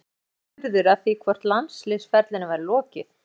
Eiður var spurður að því hvort landsliðsferlinum væri lokið?